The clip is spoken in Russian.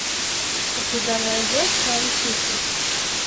у тебя найдется антихрист